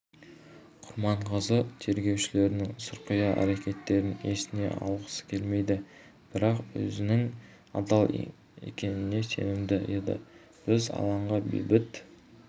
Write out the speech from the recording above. құрманғазы тергеушілерінің сұрқия әрекеттерін есіне алғысы келмейді бірақ өзінің адал екеніне сенімді еді біз алаңға бейбіт